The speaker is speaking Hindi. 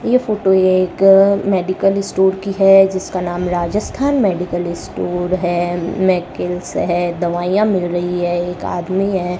ये फोटो एक मेडिकल स्टोर की है जिसका नाम राजस्थान मेडिकल स्टोर है मैकिल्स है दवाइयां मिल रही है एक आदमी है।